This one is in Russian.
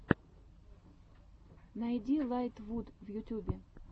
найди лайтвуд в ютьюбе